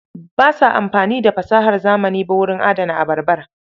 Ba sa amfani da fasahar zamani ba wurin adana abarbar.